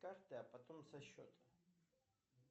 карты а потом со счета